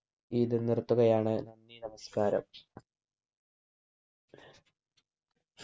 ഇത് നിർത്തുകയാണ് നന്ദി നമസ്ക്കാരം